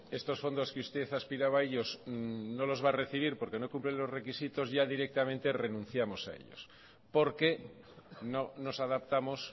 estos fondos que usted aspiraba a ellos no los va a recibir porque no cumplen los requisitos ya directamente renunciamos a ellos porque no nos adaptamos